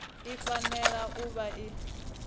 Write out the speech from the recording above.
i fanela u vha i